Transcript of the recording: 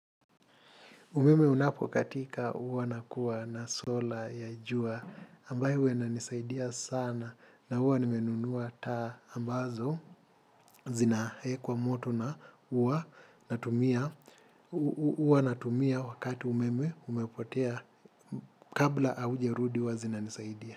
Umeme unapokatika huwa nakuwa na solar ya jua ambayo huwa inanisaidia sana na huwa nimenunua taa ambazo zinaekwa moto na huwa huwa natumia wakati umeme umepotea kabla haujarudi huwa zinanisaidia.